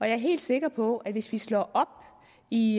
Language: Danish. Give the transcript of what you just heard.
er helt sikker på at hvis vi slår op i